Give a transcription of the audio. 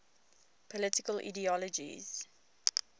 political ideologies